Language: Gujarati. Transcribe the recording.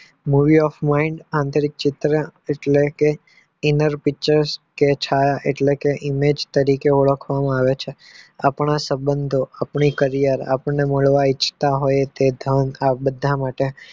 મૂલ્યાંક મે આંતરિક ચિત્ર એટલે કે inar તરીકે ઓળખવામાં આવે છે આપણા સબંધો આપણે કરાયું અને મેળવતા હોયી બધા માટે